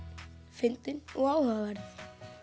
fyndin og áhugaverð